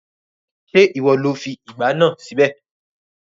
Ṣé ìwọ lo fi ìgbá náà síbẹ̀?